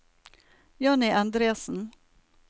Johnny Endresen